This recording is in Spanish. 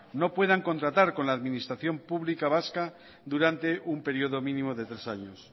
no puedan contratar con la administración pública vasca durante un período mínimo de tres años